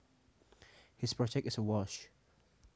His project is a wash